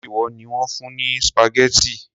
Ṣé ìwọ ni wón fún ní spaghetti?